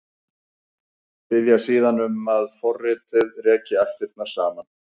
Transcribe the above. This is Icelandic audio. Biðja síðan um að forritið reki ættirnar saman.